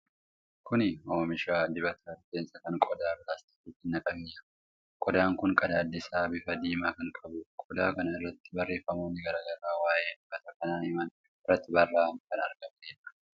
Kun oomisha dibata rifeensaa kan qodaa pilaastikaatti naqamee jiruudha. Qodaan kun qadaadi isaa bifa diimaa kan qabuudha. Qodaa kana irratti barreefamoonni garaa garaa waa'ee dibata kanaa himan irratti barraa'anii kan argamanidha.